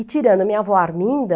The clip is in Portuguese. E tirando a minha avó Arminda...